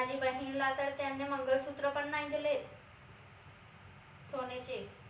माझी बहिणीला तर त्यांने मंगळसूत्र पण नाही देलेत सोन्याचे